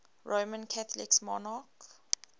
roman catholic monarchs